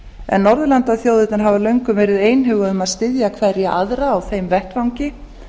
en norðurlandaþjóðirnar hafa löngum verið einhuga í að styðja hver aðra á þeim vettvangi